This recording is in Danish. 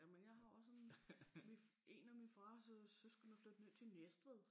Jamen jeg har også en min én af min fars øh søskende er flyttet ned til Næstved